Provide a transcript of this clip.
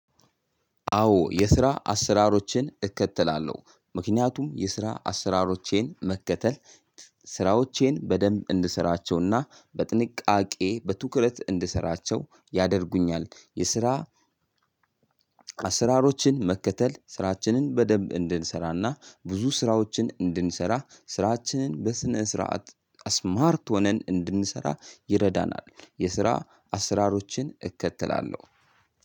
አዎ የስራ አሰራሮችን እከተላለሁ ምክንያቱም የስራ አሰራሮቼን መከተል ስራዎቼን በደንብ እንድሰራቸውና በጥንቃቄ በትኩረት እንድሰራቸው ያደርጉኛል። የስራ አሰራሮችን መከተል ስራችንን በደንብ እንድንሰራና ብዙ ስራዎችን እንድንሰራ ስራችንን በስነ ስርዓት እስማርት ሆነን እንድንሰራ ይረዳናል። የስራ አሰራሮችን እከተላለሁ።